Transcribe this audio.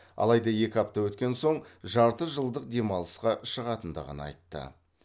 алайда екі апта өткен соң жарты жылдық демалысқа шығатындығын айтты